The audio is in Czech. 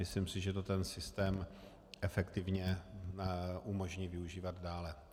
Myslím si, že to ten systém efektivně umožní využívat dále.